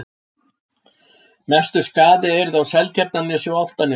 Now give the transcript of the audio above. Mestur skaði yrði á Seltjarnarnesi og Álftanesi.